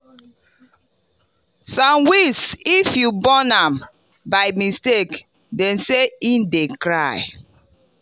some weeds if you burn am by mistake dem say e dey cry.